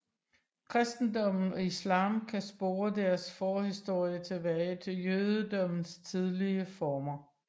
Kristendommen og islam kan spore deres forhistorie tilbage til jødedommens tidlige former